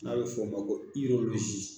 N'a bɛ fɔ o ma ko